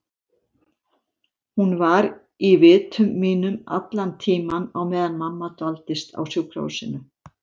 Hún var í vitum mínum allan tímann á meðan mamma dvaldist á sjúkrahúsinu.